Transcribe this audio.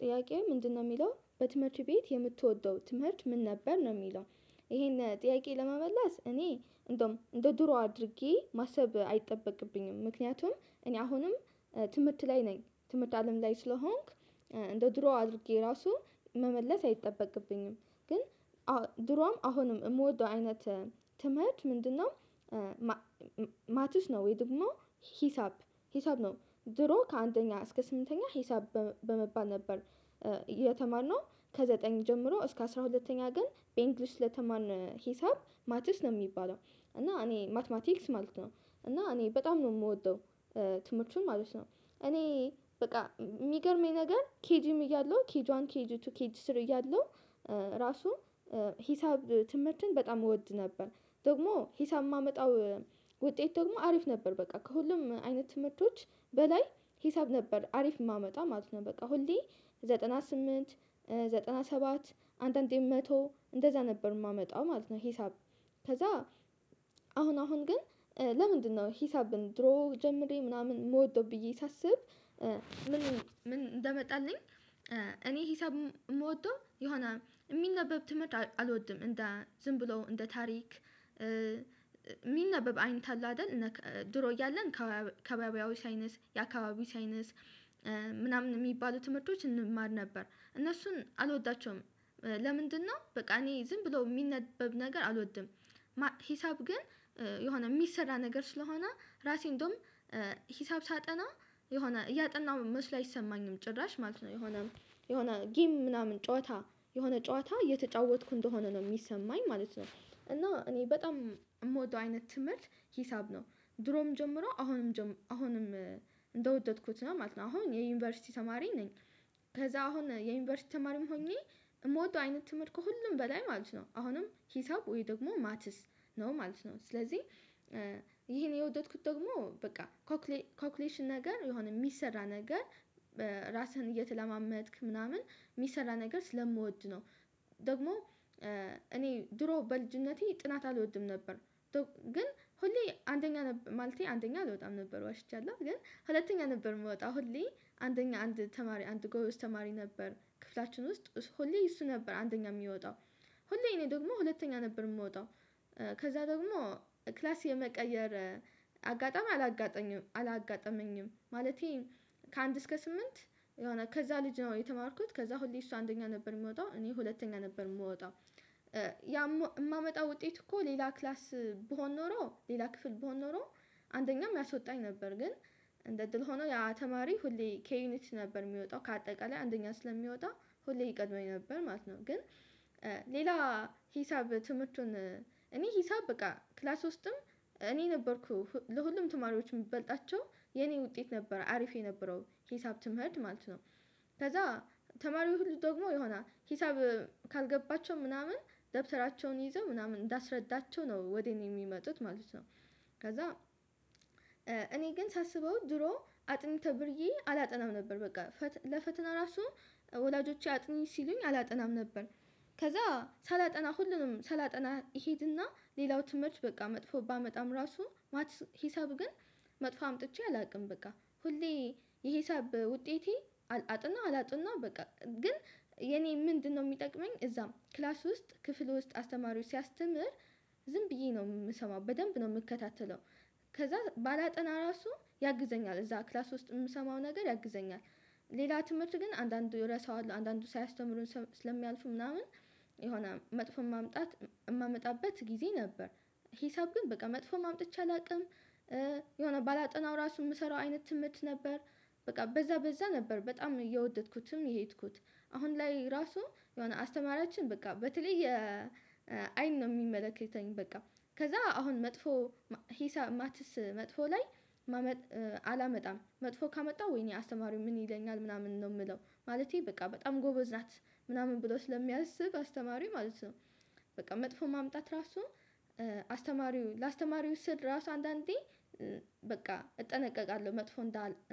ጥያቄው ምንድነው የሚለው በትምህርት ቤት የምትወደው ትምህርት ምን ነበር? ነው የሚለው ይሄንን ጥያቄ ለመመለስ እኔ እንደውም እንደ ድሮ አድርጌ ማሰብ አይጠበቅብኝም ምክንያቱም እኔ አሁንም ትምህርት ላይ ነኝ ትምህርት አለም ላይ ስለሆንኩ፣ እንደ ድሮ አድርጌ ራሱ መመለስ አይጠበቅብኝም ግን ድሮም አሁንም የምወደው አይነት ተምህርት ምንድነው፣ ማቲስ ነው ወይ ደግሞ ሂሳብ ሂሳብ ነው። ድሮ ከአንደኛ እስከ ስምንተኛ ሂሳብ በመባል ነበር የተማርነው ከዘጠኝ ጀምሮ እስከ አስራ ሁለተኛ ግን በእንግሊሽ ስለተማርን ሂሳብ ማቲስ ነው የሚባለው እና እኔ ማቲማቲክስ ማለት ነው። እና እኔ በጣም ነው የምወደው ትምህርቱን ማለት ነው። እኔ በቃ የሚገርመኝ ነገር ኬይጂም እያለሁ ኬይጇዋን ኬይጂ ቱ ኬይጂ ስር እያለሁ ራሱ ሂሳብ ትምህርትን በጣም እወድ ነበር ደግሞ ሂሳብ የማመጣው ውጤት ደግሞ አሪፍ ነበር በቃ ከሁሉም አይነት ትምህርቶች በላይ ሂሳብ ነበር አሪፍ የማመጣው ማለት ነው። በቃ ሁሌ ዘጠና ስምንት ዘጠና ሰባት አንዳንዴ መቶ እንደዛ ነበር የማመጣው ማለት ነው ሂሳብ። ከዛ አሁን አሁን ግን ለምንድነው ሂሳብን ድሮ ጀምሬ ምናምን የምወደው ብዬ ሳስብ፣ ምን እንደመጣልኝ እኔ ሂሳብ የምወደው የሆነ የሚነበብ ትምህርት አልወድም እንደ ዝም ብሎ እንደ ታሪክ፣ የሚነበብ አይንት አለ አይደል ድሮ እያለን ከከባቢያዎች ሳዪንስ የአካባቢዎች ሳይንስ ምናምን የሚባሉ ትምህርቶች እንማር ነበር፣ እነሱን አልወዳቸውም ለምንድነው በቃ እኔ ዝም ብሎ የሚነበብ ነገር አልወድም ሂሳብ ግን የሆነ የሚሰራ ነገር ስለሆነ ራሴ እንደውም ሳጠና የሆነ እያጠናሁ መስሎ አይሰማኝም ጭራሽ ማለት ነው የሆነ የሆነ ጊም ምናምን ጨዋታ የሆነ ጨዋታ እየተጫወትኩ እንደሆነ ነው የሚሰማኝ ማለት ነው። እና እኔ በጣም የምወደው አይነት ትምህርት ሂሳብ ነው። ድሮም ጀምሮ አሁንም አሁንም እንደወደድኩት ነው ማለት ነው። አሁን የዩኒቨርሲቲ ተማሪ ነኝ ከዛ አሁን የዩኒቨርሲቲ ተማሪም ሆኜ የምወደው አይነት ትምህርት ከሁሉም በላይ ማለት ነው አሁንም ሂሳብ ወይ ደግሞ ማትስ ነው ማለት ነው። ስለዚህ ይሄን የወደድኩት ደግሞ በቃ ኮኩሌሽን ነገር የሆነ የሚሰራ ነገር በራስህን እየተለማመድክ ምናምን የሚሰራ ነገር ስለምወድ ነው። ደግሞ እኔ ድሮ በልጅነቴ ጥናት አልወድም ነበር። ግን ሁሌ አንደኛ ነበር ማለቴ አንደኛ አልወጣም ነበር ዋሽቻለሁ፣ ግን ሁለተኛ ነበር የምወጣው ሁሌ አንደኛ አንድ ተማሪ አንድ ጎበዝ ተማሪ ነበር ክፍላችን ውስጥ ሁሌ እሱ ነበር አንደኛ የሚወጣው ሁሌ እኔ ደግሞ ሁለተኛ ነበር የምወጣው ከዛ ደግሞ ክላስ የመቀየር አጋጠሚ አላጋጠመኝም። ማለቴ ከአንድ እስከ ስምንት የሆነ ከዛ ልጅ ነው የተማርኩት ከዛ ሁሌ እሱ አንደኛ ነበር የሚወጣው እኔ ሁለተኛ ነበር የምወጣው። የማመጣው ውጤት እኮ ሌላ ክላስ ብሆን ኖሮ ሌላ ክፍል ብሆን ኖሮ አንደኛም ያሶጣኝ ነበር፣ ግን እንደ እድል ሆኖ ያተማሪ ሁሌ ከዩኒት ነበር የሚወጣው፣ ከአጠቃላይ አንደኛ ስለሚወጣ ሁሌ ይቀድመኝ ነበር ማለት ነው። ግን ሌላ ሂሳብ ትምህርቱን እኔ ሂሳብ በቃ ክላስ ውስጥም እኔ ነበርኩ ለሁሉም ተማሪዎች የሚበልጣቸው የኔ ውጤት ነበር አሪፍ የነበረው። ሂሳብ ትምህርት ማለት ነው። ከዛ ተማሪው ሁሉ ደግሞ የሆነ ሂሳብ ካልገባቸው ምናምን ደብተራቸውን ይዘው ምናምን እንዳስረዳቸው ነው ወዴት የሚመጡት ማለት ነው። ከዛ እኔ ግን ሳስበው ድሮ አጥኑ ተብርዬ አላጠናም ነበር፣ በቃ ለፈተና ራሱ ወላጆቼ አጥኚ ሲሉኝ አላጠናም ነበር። ከዛ ሳላጠና ሁሉንም ሳላጠና እሄድና ሌላው ትምህርት በቃ መጥፎ ባመጣም ራሱ፣ ሂሳብ ግን መጥፎ አምጥቼ አላውቅም በቃ ሁሌ የሂሳብ ውጤቴ አጥናው አላጥናው በቃ ግን የኔ ምንድነው የሚጠቅመኝ እዛም ክላስ ውስጥ ክፍል ውስጥ አስተማሪው ሲያስተምር፣ ዝም ብዬ ነው የምሰማው በደንብ ነው የምከታተለው። ከዛ ባላጠና ራሱ ያግዘኛል እዛ ክላስ ውስጥ የምሰማው ነገር ያግዘኛል። ሌላ ትምህርት ግን አንዳንዱ ረሳዋል አንዳንዱ ሳያስተምሩን ስለሚያልፉ ምናምን፣ የሆነ መጥፎ ማምጣት የማመጣበት ጊዜ ነበረ፣ ሂሳብ ግን በቃ መጥፎ ማምጣት አላውቅም የሆነ ባላጠናው ራሱ የምሰራው አይነት ትምህርት ነበር በቃ በዛ በዛ ነበር በጣም እየወደድኩትም የሄድኩት፣ አሁን ላይ ራሱ የሆነ አስተማሪያችን በቃ በተለይ አይን ነው የሚመለከተኝ በቃ ከዛ አሁን መጥፎ ሂሳብ ማትስ መጥፎ ላይ አላመጣም መጥፎ ካመጣው ወይኔ አስተማሪው ምን ይለኛል ምናምን ነው የምለው። ማለቴ በቃ በጣም ጎበዝ ናት ምናምን ብሎ ስለሚያስብ አስተማሪው ማለት ነው በቃ መጥፎ ማምጣት ራሱ አስተማሪው ለአስተማሪው ስል ራሱ አንዳንዴ በቃ እጠነቀቃለሁ መጥፎ